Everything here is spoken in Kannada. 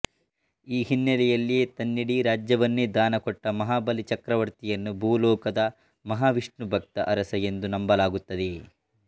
ಈ ಹಿನ್ನೆಲೆಯಲ್ಲಿಯೇ ತನ್ನಿಡೀ ರಾಜ್ಯವನ್ನೇ ದಾನ ಕೊಟ್ಟ ಮಹಾಬಲಿ ಚಕ್ರವರ್ತಿಯನ್ನು ಭೂಲೋಕದ ಮಹಾವಿಷ್ಣುಭಕ್ತ ಅರಸ ಎಂದು ನಂಬಲಾಗುತ್ತದೆ